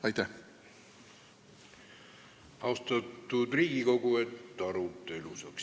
Aitäh!